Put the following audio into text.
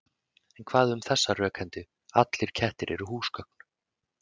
En hvað um þessa rökhendu: Allir kettir eru húsgögn